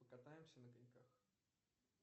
покатаемся на коньках